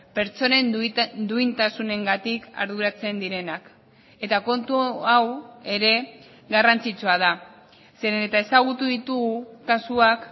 pertsonen duintasunengatik arduratzen direnak eta kontu hau ere garrantzitsua da zeren eta ezagutu ditugu kasuak